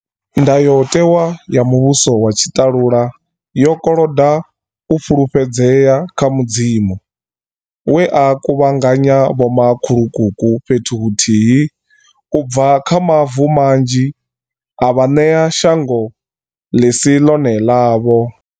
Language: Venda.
Ndayotewa ya muvhuso wa tshi ṱalula yo koloda u fhulufhedzea kha Mudzimu, we a kuvhanganya vhoma khulukuku fhethu huthihi u bva kha mavu manzhi a vha ṋea shango ḽisi ḽone ḽavho.